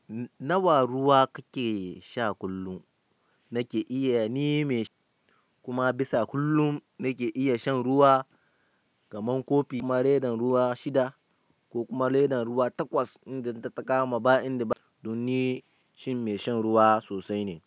Nawa ruwa kake sha kullum? Nake iya neme, kuma bisa kullum nake iya shan ruwa kaman kofi, kuma redan ruwa shida, ko kuma ledan ruwa takwas in dan ta ta kama ba inda ba. Don ni shin mai shan ruwa sosai ne.